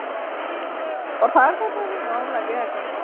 কথা কওতে সি মৰম লাগে আকৌ ন?